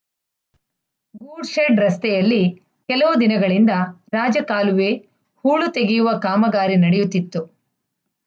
good shed ರಸ್ತೆಯಲ್ಲಿ ಕೆಲವು ದಿನಗಳಿಂದ ರಾಜಕಾಲುವೆ ಹೂಳು ತೆಗೆಯುವ ಕಾಮಗಾರಿ ನಡೆಯುತ್ತಿತ್ತು